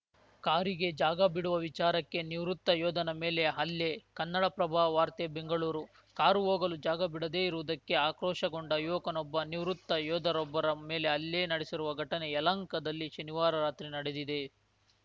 ಕಾರಿಗೆ ಜಾಗ ಬಿಡುವ ವಿಚಾರಕ್ಕೆ ನಿವೃತ್ತ ಯೋಧನ ಮೇಲೆ ಹಲ್ಲೆ ಕನ್ನಡಪ್ರಭ ವಾರ್ತೆ ಬೆಂಗಳೂರು ಕಾರು ಹೋಗಲು ಜಾಗ ಬಿಡದೇ ಇರುವುದಕ್ಕೆ ಆಕ್ರೋಶಗೊಂಡ ಯುವಕನೊಬ್ಬ ನಿವೃತ್ತ ಯೋಧರೊಬ್ಬರ ಮೇಲೆ ಹಲ್ಲೆ ನಡೆಸಿರುವ ಘಟನೆ ಯಲಹಂಕದಲ್ಲಿ ಶನಿವಾರ ರಾತ್ರಿ ನಡೆದಿದೆ